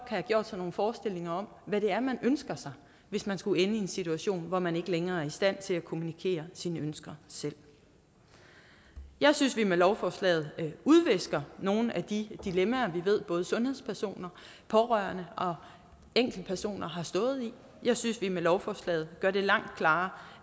have gjort sig nogle forestillinger om hvad det er man ønsker sig hvis man skulle ende i en situation hvor man ikke længere er i stand til at kommunikere sine ønsker selv jeg synes vi med lovforslaget udvisker nogle af de dilemmaer vi ved både sundhedspersoner pårørende og enkeltpersoner har stået i jeg synes vi med lovforslaget gør det langt klarere